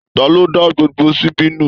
Taló dá gbogbo síbí nu?